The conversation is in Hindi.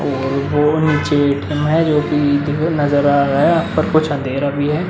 और वो नीचे ए.टी.एम. है जो कि नजर आ रहा है और कुछ अंधेरा भी है।